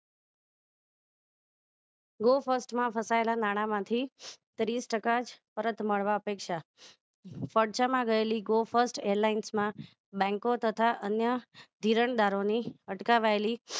Go first માં ફસાયેલા નાણા માંથી ત્રીસ ટકા જ પરત મળવા પૈસા માં ગયેલી go first LIS માં bank તથા અન્ય ધિરાણ દારો ની અટકાવાયેલી